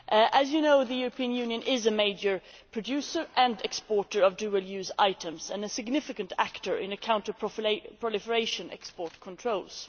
As you know, the European Union is a major producer and exporter of dual use items and a significant actor in counter proliferation export controls.